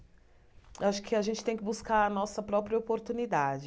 Acho que a gente tem que buscar a nossa própria oportunidade.